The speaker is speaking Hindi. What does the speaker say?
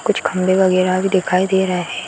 कुछ खम्भे वैगरह भी दिखाई दे रहे हैं।